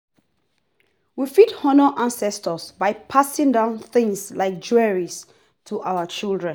we fit honour ancestor by passing down things like jewelry to our children